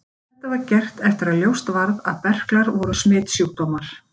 Þetta var gert eftir að ljóst varð að berklar voru smitsjúkdómur.